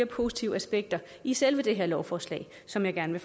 positive aspekter i selve det her lovforslag som jeg gerne